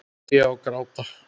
Hlæja og gráta.